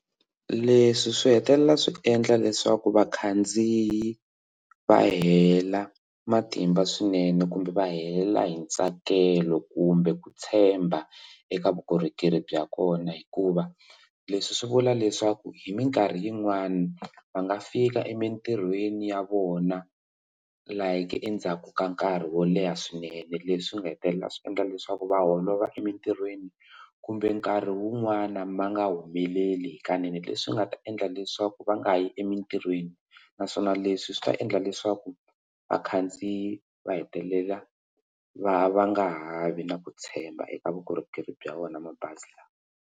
Leswi swi hetelela swi endla leswaku vakhandziyi va hela matimba swinene kumbe va hela hi ntsakelo kumbe ku tshemba eka vukorhokeri bya kona hikuva leswi swi vula leswaku hi mikarhi yin'wani va nga fika emintirhweni ya vona like endzhaku ka nkarhi wo leha swinene leswi nga hetelela swi endla leswaku va holova emitirhweni kumbe nkarhi wun'wani ma nga humeleli hikanene leswi nga ta endla leswaku va nga yi emitirhweni naswona leswi swi ta endla leswaku vakhandziyi va hetelela va va nga ha vi na ku tshemba eka vukorhokeri bya wona mabazi lawa.